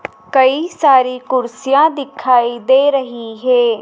कई सारी कुर्सियां दिखाई दे रही हे।